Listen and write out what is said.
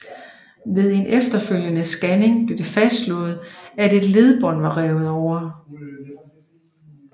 Ved en efterfølgende scanning blev det fastslået at et ledbånd var revet over